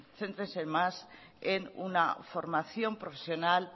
céntrense más en una formación profesional